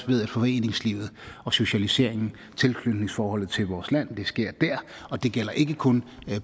ved at foreningslivet og socialiseringen og tilknytningsforholdet til vores land sker der og det gælder ikke kun